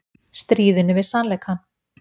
Stríðinu við sannleikann